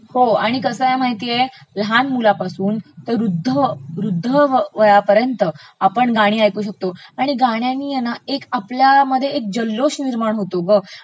हो आणि कसं आहे माहितेय, लहान मुलापासून ते वृध्द.... वृध्द वयापर्यंत आपण गाणी ऐकू शकतो, आणि गाण्यानी हे ना आपल्यामध्ये एक जल्लोष निर्माण होतो ग..